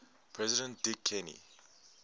president dick cheney